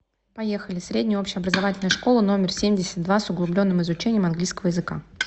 поехали средняя общеобразовательная школа номер семьдесят два с углубленным изучением английского языка